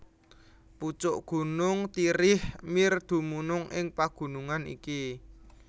Pucuk gunung Tirich Mir dumunung ing pagunungan iki